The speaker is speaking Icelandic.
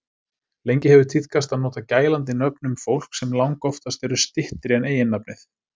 Lengi hefur tíðkast að nota gælandi nöfn um fólk sem langoftast eru styttri en eiginnafnið.